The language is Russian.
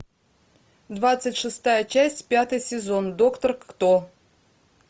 двадцать шестая часть пятый сезон доктор кто